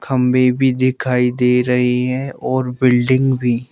खंबे भी दिखाई दे रहे हैं और बिल्डिंग भी।